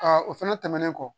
o fɛnɛ tɛmɛnen kɔ